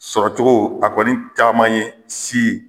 Sɔrɔcogo a kɔni caman ye si